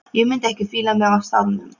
Ég mundi ekki fíla mig á staðnum.